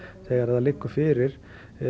þegar það liggur fyrir